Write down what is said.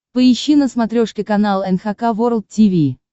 поищи на смотрешке канал эн эйч кей волд ти ви